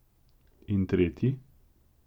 In tretji?